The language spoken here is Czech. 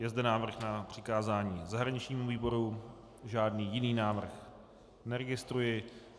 Je zde návrh na přikázání zahraničnímu výboru, žádný jiný návrh neregistruji.